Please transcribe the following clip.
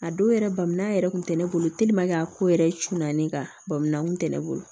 A don yɛrɛ bamuya yɛrɛ kun tɛ ne bolo a ko yɛrɛ cunna ne kan bamula kun tɛ ne bolo